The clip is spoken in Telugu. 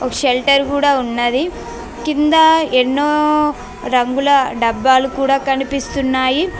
షెల్టర్ కూడా ఉన్నది. కింద ఎన్నో రంగులు డబ్బాలు కూడా కనిపిస్తున్నాయి.